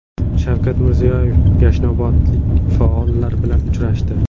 Shavkat Mirziyoyev yashnobodlik faollar bilan uchrashdi.